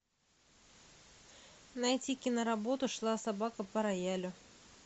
найти киноработу шла собака по роялю